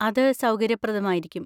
അത് സൗകര്യപ്രദമായിരിക്കും.